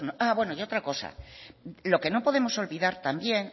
bueno otra cosa lo que no podemos olvidar también